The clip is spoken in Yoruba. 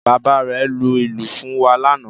Bàbá rẹ̀ lu ìlù fún wa lánàá